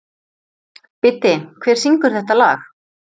Biddi, hver syngur þetta lag?